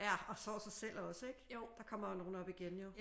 Ja og sår sig selv også ik? Der kommer jo nogen op igen jo